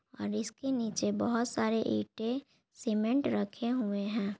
और इसके नीचे बहुत सारे ईंटे सीमेन्ट रखे हुए हैं।